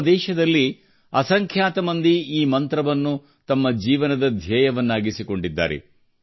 ನಮ್ಮ ದೇಶದಲ್ಲಿ ಅಸಂಖ್ಯಾತ ಮಂದಿ ಈ ಮಂತ್ರವನ್ನು ತಮ್ಮ ಜೀವನದ ಧ್ಯೇಯವನ್ನಾಗಿಸಿಕೊಂಡಿದ್ದಾರೆ